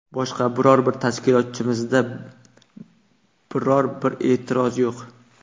Boshqa biror bir tashkilotimizda biror bir e’tiroz yo‘q.